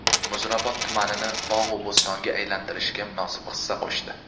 Muzrabot tumanini bog‘u bo‘stonga aylantirishga munosib hissa qo‘shdi.